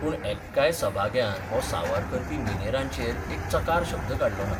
पूण एक्काय सभाग्यान हो सांवार करपी मिनेरांचेर एक चकार शब्द काडलो ना.